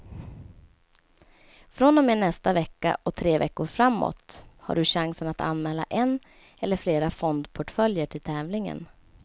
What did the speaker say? Från och med nästa vecka och tre veckor framåt har du chansen att anmäla en eller flera fondportföljer till tävlingen.